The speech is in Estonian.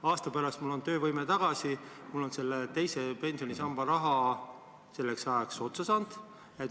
Aasta pärast on mul töövõime tagasi, aga teise pensionisamba raha on selleks ajaks otsa saanud.